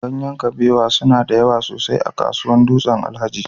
Ganyen kabewa suna da yawa sosai a kasuwar Dutsen-Alhaji